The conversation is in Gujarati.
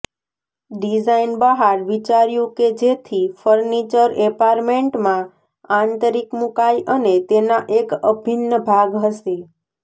ડિઝાઇન બહાર વિચાર્યું કે જેથી ફર્નિચર એપાર્ટમેન્ટમાં આંતરિક મૂકાય અને તેના એક અભિન્ન ભાગ હશે